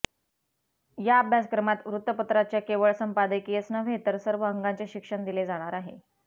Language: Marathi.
या अभ्यासक्रमात वृत्तपत्राच्या केवळ संपादकीयच नव्हे तर सर्व अंगांचे शिक्षण दिले जाणार आहे